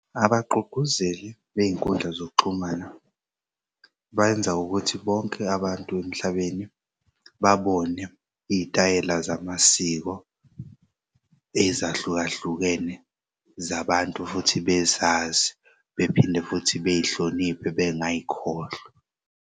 Abagqugquzeli bey'nkundla zokuxhumana benza ukuthi bonke abantu emhlabeni babone iyitayela zamasiko ezahlukahlukene zabantu futhi bezazi, bephinde futhi bey'hloniphe bengayikhohlwa.